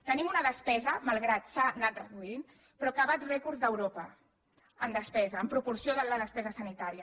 tenim una despesa malgrat que s’ha anat reduint però que bat rècords d’europa en despesa en proporció de la despesa sanitària